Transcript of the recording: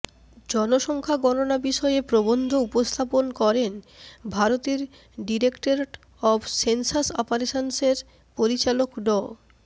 জনসংখ্যা গণনা বিষয়ে প্রবন্ধ উপস্থাপন করেন ভারতের ডিরেক্টরেট অব সেনসাস অপারেশন্সের পরিচালক ড